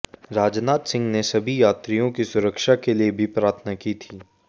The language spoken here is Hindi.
राजनाथ सिंह ने सभी यात्रियों की सुरक्षा के लिए भी प्रार्थना की थी